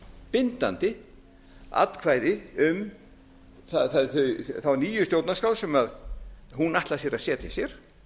bindandi atkvæði um þá nýju stjórnarskrá sem hún ætlar sér að setja sér